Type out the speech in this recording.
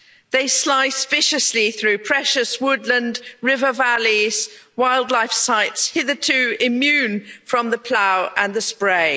They slice viciously through precious woodland, river valleys and wildlife sites hitherto immune from the plough and the spray.